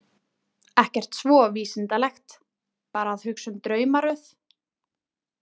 Ekkert svo vísindalegt, bara að hugsa um draumaröð.